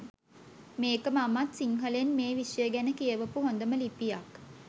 මේක මමත් සිංහලෙන් මේ විෂය ගැන කියවපු හොඳම ලිපියක්